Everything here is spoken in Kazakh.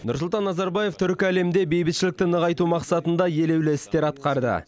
нұрсұлтан назарбаев түркі әлемінде бейбітшілікті нығайту мақсатында елеулі істер атқарды